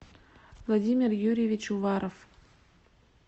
владимир юрьевич уваров